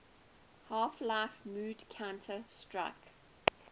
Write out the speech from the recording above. half life mod counter strike